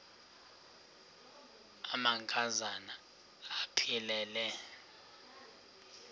amanka zana aphilele